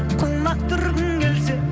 құлақ түргің келсе